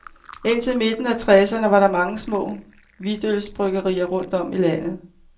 Indtil midten af treserne var der mange små hvidtølsbryggerier rundt om i landet.